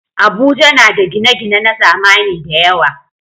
Abuja na da gine-gine na zamani da yawa.